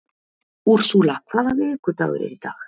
Úrsúla, hvaða vikudagur er í dag?